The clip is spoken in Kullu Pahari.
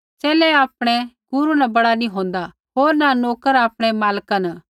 च़ेले आपणै गुरू न बड़ा नी होन्दा होर न नोकर आपणै मालका न